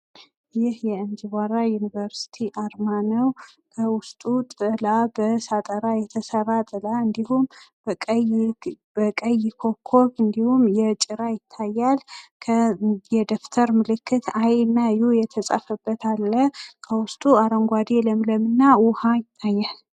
ይህ የእንጅባራ ዩኒቨርስቲ አርማ ነው። በውስጡ ጥላ በሳጥራ የተሰራ ጥላ እና እንድሁም በቀይ ኮከብ እንድሁም ጭራ ይታያል። የደብተር ምልክት አይ ና ዩ የተጻፈበት አለ። ከውስጡ አረንጓዴ ለምለም እና ውሃ ይታያል።